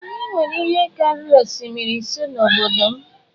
Anyị nwere ihe karịrị osimiri ise n’obodo m.